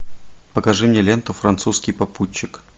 покажи мне ленту французский попутчик